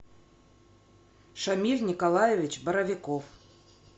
шамиль николаевич боровиков